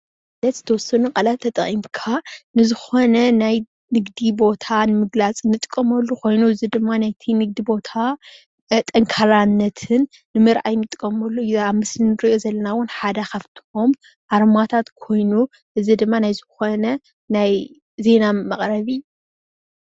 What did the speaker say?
ዝተወሰኑ ቃላት ተጠቂምካ ንዝኾነ ናይ ንግዲ ቦታ ንምግላፅ እንጥቀመሉ ኮይኑ እዚ ድማ ናይቲ ንግዲ ቦታ ጠንካራነትን ንምርኣይ እንጥቀመሉ እዩ። እዚ ኣብዚ ምስሊ ንሪኦ ዘለና ሓደ ካብቶም ኣርማታት ኮይኑ እዚ ድማ ናይ ዝኽዕነ ናይ ዜና መቕረቢ።